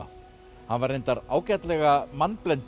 hann var reyndar ágætlega